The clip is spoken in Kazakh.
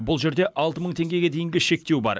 бұл жерде алты мың теңгеге дейінгі шектеу бар